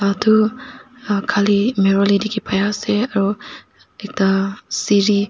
atu khali mirrol he dikhi paiase aru ekta sere--